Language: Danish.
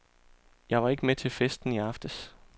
Jeg var ikke med til festen i aftes.